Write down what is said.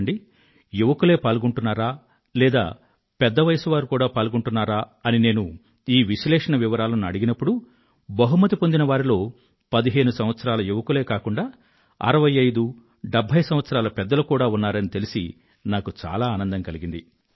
చూడండి యువకులే పాల్గొంటున్నారా లేదా పెద్ద వయసువారు కూడా పాల్గొంటున్నారా అని నేను ఈ విశ్లేషణ వివరాలను అడిగినప్పుడు బహుమతి పొందినవారిలో పదిహేను సంవత్సరాల యువకులే కాకుండా అరవై ఐదు డెభ్భై సంవత్సరాల పెద్దలు కూడా ఉన్నారని తెలిసి నాకు ఆనందం కలిగింది